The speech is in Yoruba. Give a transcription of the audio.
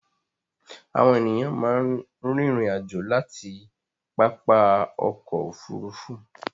Àwọn ènìyàn máa ń rìnrìn-àjò láti pápá ọkọ̀-òfurufú.